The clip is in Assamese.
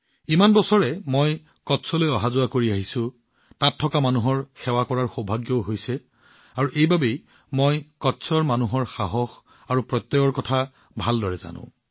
ইমান বছৰে মই কচ্চলৈ অহা যোৱা কৰি আহিছো কচ্চৰ জনসাধাৰণৰ সেৱা কৰাৰ সৌভাগ্যও পাইছো আৰু ইয়াৰ বাবে কচ্চৰ মানুহৰ আত্মা আৰু আত্মাক মই ভালদৰে জানো